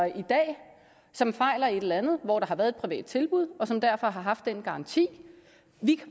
i dag som fejler et eller andet hvor der har været et privat tilbud og som derfor har haft den garanti